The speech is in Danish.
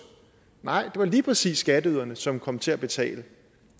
nej det var lige præcis skatteyderne som kom til at betale